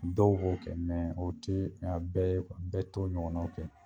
Dɔw b'o kɛ mɛ o te a bɛɛ ye bɛɛ t'o ɲɔgɔna kɛ